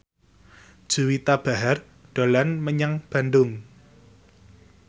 Juwita Bahar dolan menyang Bandung